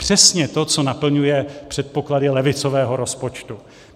Přesně to, co naplňuje předpoklady levicového rozpočtu.